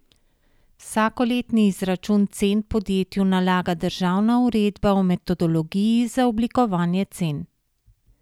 Vsakoletni izračun cen podjetju nalaga državna uredba o metodologiji za oblikovanje cen.